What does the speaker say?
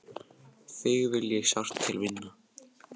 Þig vil ég sárt til vinna.